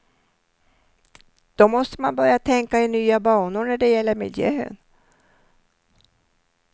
Då måste man börja tänka i nya banor när det gäller miljön.